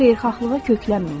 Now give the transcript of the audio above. Xeyirxahlığa köklənməyin.